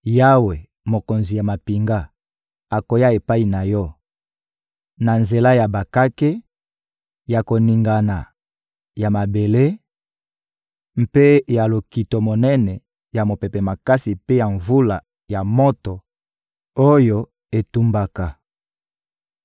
Yawe, Mokonzi ya mampinga, akoya epai na yo na nzela ya bakake, ya koningana ya mabele mpe ya lokito monene, ya mopepe makasi mpe ya mvula ya moto oyo etumbaka.